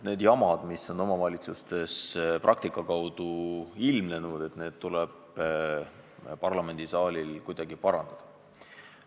Need jamad, mis omavalitsuste praktikas on ilmnenud, tuleb parlamendisaalil kuidagi lahendada.